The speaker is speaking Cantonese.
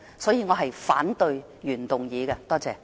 所以，我反對原議案。